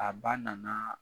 A ba nana